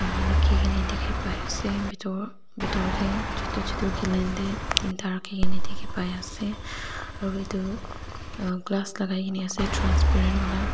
rakhigaina dikhi pai ase bitor deh chutu chutu galoon de tinta rakhigena dikhipai ase aro itu ah aina lagaigena ase transparent ola.